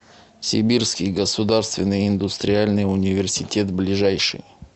сибирский государственный индустриальный университет ближайший